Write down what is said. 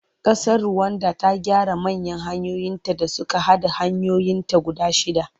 Ƙasar Ruwanda ta gyara manya hanyoyinta da suka haɗa hanyoyinta guda shidda.